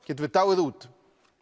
getum við dáið út